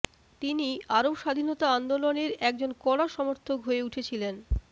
তিনি আরব স্বাধীনতা আন্দোলনের একজন কড়া সমর্থক হয়ে উঠেছিলেন